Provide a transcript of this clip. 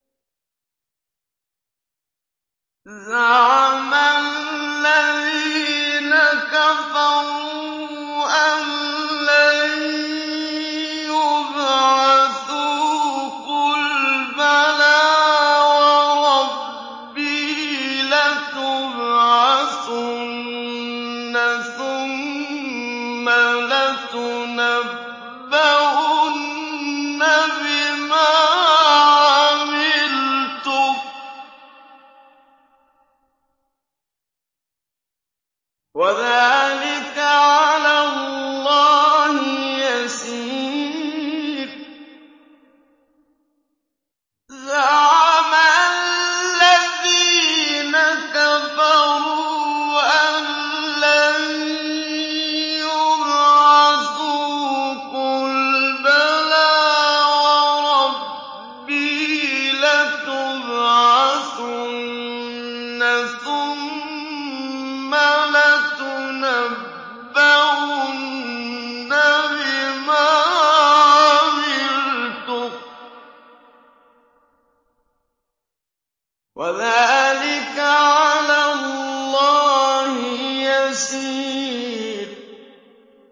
زَعَمَ الَّذِينَ كَفَرُوا أَن لَّن يُبْعَثُوا ۚ قُلْ بَلَىٰ وَرَبِّي لَتُبْعَثُنَّ ثُمَّ لَتُنَبَّؤُنَّ بِمَا عَمِلْتُمْ ۚ وَذَٰلِكَ عَلَى اللَّهِ يَسِيرٌ